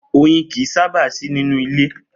Oyin kìí sábà sì nínú ilé